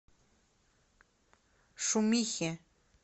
шумихе